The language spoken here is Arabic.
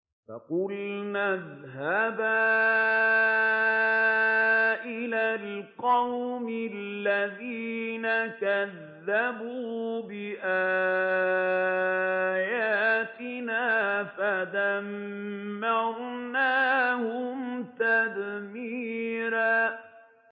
فَقُلْنَا اذْهَبَا إِلَى الْقَوْمِ الَّذِينَ كَذَّبُوا بِآيَاتِنَا فَدَمَّرْنَاهُمْ تَدْمِيرًا